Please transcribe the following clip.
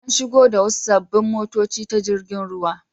An shigo da wasu sabbin motoci ta jirgin ruwa.